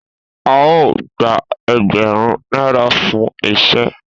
A o gba ẹẹgbarun naira fún iṣẹ.